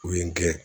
U ye n gɛn